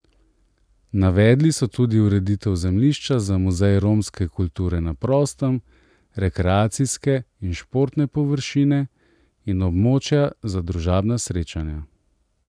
Navedli so tudi ureditev zemljišča za muzej romske kulture na prostem, rekreacijske in športne površine in območja za družabna srečanja.